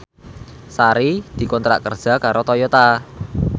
Sari dikontrak kerja karo Toyota